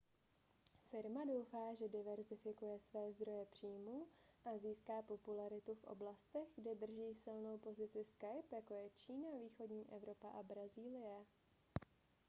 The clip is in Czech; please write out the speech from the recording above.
firma doufá že diverzifikuje své zdroje příjmů a získá popularitu v oblastech kde drží silnou pozici skype jako je čína východní evropa a brazílie